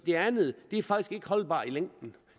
det andet er faktisk ikke holdbart i længden